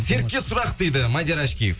серікке сұрақ дейді мадияр ашкеев